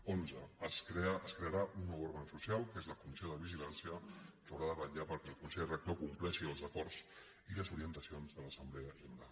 quinze es crearà un nou òrgan social que és la comissió de vigilància que haurà de vetllar perquè el consell rector compleixi els acords i les orientacions de l’assemblea general